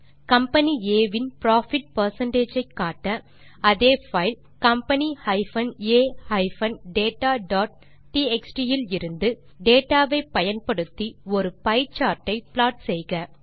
company ஆ இன் profit percentage ஐ காட்ட அதே பைல் company a dataடிஎக்ஸ்டி விலிருந்து டேட்டா வை பயன்படுத்தி ஒரு பியே சார்ட் ஐ ப்லாட் செய்க